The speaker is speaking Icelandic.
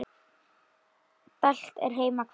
Dælt er heima hvað.